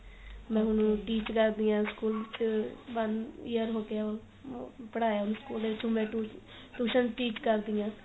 ਮੈਂ ਹੁਣ teach ਕਰ ਰਹੀ ਆschool ਚ one year ਹੋ ਗਿਆ ਪੜਾਇਆ ਵੀ school ਵਿੱਚ ਹੁਣ ਮੈਂ tuition teach ਕਰਦੀ ਆ